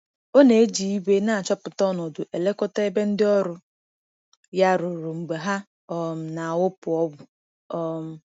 Ọ na-eji igwe na-achọpụta ọnọdụ elekọta ebe ndị ọrụ ya rụrụ mgbe ha um na-awụpụ ọgwụ. um